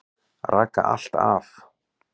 Raka allt af.